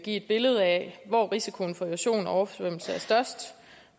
et billede af hvor risikoen for erosion og oversvømmelse er størst